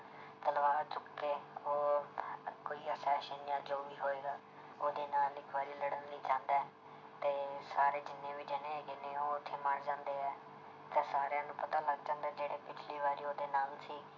ਤਲਵਾਰ ਚੁੱਕ ਕੇ ਉਹ ਕੋਈ ਜਾਂ ਜੋ ਵੀ ਹੋਏਗਾ ਉਹਦੇ ਨਾਲ ਇੱਕ ਵਾਰੀ ਲੜਨ ਲਈ ਜਾਂਦਾ ਹੈ ਤੇ ਸਾਰੇ ਜਿੰਨੇ ਵੀ ਜਾਣੇ ਹੈਗੇ ਨੇ ਉਹ ਉੱਥੇ ਮਰ ਜਾਂਦੇ ਹੈ, ਤੇ ਸਾਰਿਆਂ ਨੂੰ ਪਤਾ ਲੱਗ ਜਾਂਦਾ ਜਿਹੜੇ ਪਿੱਛਲੀ ਵਾਰੀ ਉਹਦੇ ਨਾਲ ਸੀ